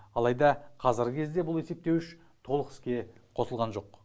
алайда қазіргі кезде бұл есептеуіш толық іске қосылған жоқ